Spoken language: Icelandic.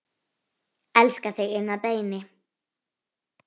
Elska þig inn að beini.